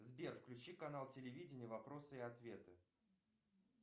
сбер включи канал телевидения вопросы и ответы